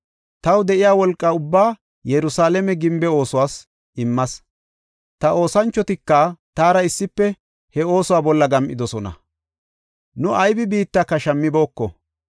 Taw de7iya wolqa ubbaa Yerusalaame gimbe oosuwas immas; ta oosanchotika taara issife he oosuwa bolla gam7idosona; nu aybi biittaka shammibooko.